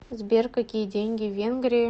сбер какие деньги в венгрии